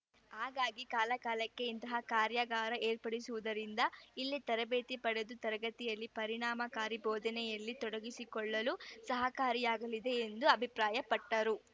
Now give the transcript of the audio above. ಹಾಗಾಗಿ ಕಾಲಕಾಲಕ್ಕೆ ಇಂತಹ ಕಾರ್ಯಾಗಾರ ಏರ್ಪಡಿಸುವುದರಿಂದ ಇಲ್ಲಿ ತರಬೇತಿ ಪಡೆದು ತರಗತಿಯಲ್ಲಿ ಪರಿಣಾಮಕಾರಿ ಬೋಧನೆಯಲ್ಲಿ ತೊಡಗಿಸಿಕೊಳ್ಳಲು ಸಹಕಾರಿಯಾಗಲಿದೆ ಎಂದು ಅಭಿಪ್ರಾಯಪಟ್ಟರು